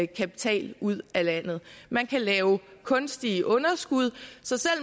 kapital ud af landet man kan lave kunstige underskud så